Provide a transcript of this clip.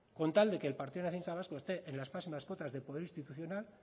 con tal de que el partido nacionalista vasco esté en las próximas cuotas de poder institucional